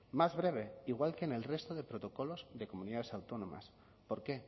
más breve igual que en el resto de protocolos de comunidades autónomas por qué